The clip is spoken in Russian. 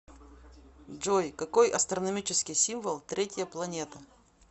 джой какой астрономический символ третья планета